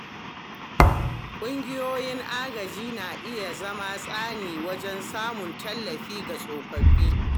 Ƙungiyoyin agaji na iya zama tsani wajen samun tallafi ga tsofaffi.